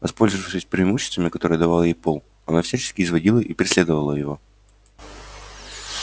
воспользовавшись преимуществами которые давал ей пол она всячески изводила и преследовала его